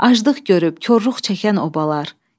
Acılıq görüb korluq çəkən obalar.